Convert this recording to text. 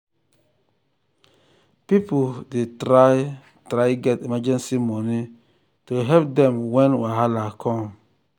people dey try try get emergency money to help dem when wahala come.